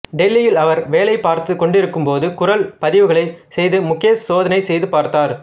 டெல்லியில் அவர் வேலை பார்த்துக்கொண்டிருக்கும் போது குரல் பதிவுகளை செய்து முகேஷ் சோதனை செய்து பார்த்தார்